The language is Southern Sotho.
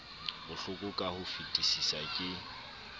bohloko ka ho fetisisa ke